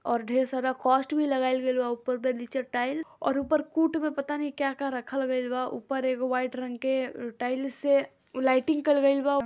और ढेर सारा कॉस्ट भी लगाएल गइल बा ऊपर में नीचे टाइल और ऊपर कूट में पता नहीं क्या-क्या रखल गइल बा ऊपर एगो वाइट रंग के अ टाईल्स से लाइटिंग कइल गईल बा।